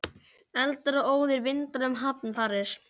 Eldar og óðir vindar- enn um hamfarir